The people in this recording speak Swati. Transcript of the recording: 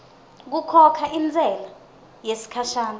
kukhokha intsela yesikhashana